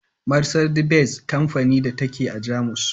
Marsandi-Benz kamfanin da ta ke a Jamus.